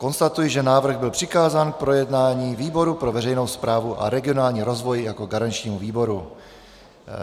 Konstatuji, že návrh byl přikázán k projednání výboru pro veřejnou správu a regionální rozvoj jako garančnímu výboru.